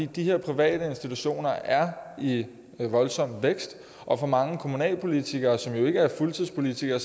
de her private institutioner er i voldsom vækst og for mange kommunalpolitikere som jo ikke er fuldtidspolitikere